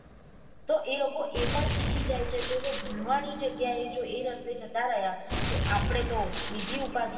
તો એ લોકો એ પણ શીખી જાય છે તો જો ભણવાની જગિયાએ જો એ રસ્તે જતા રહિયા તો આપળે તો બીજી ઉપાદી.